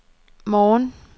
morgen